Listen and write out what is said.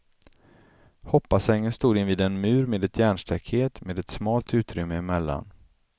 Hoppbassängen stod invid en mur med ett järnstaket, med ett smalt utrymme emellan.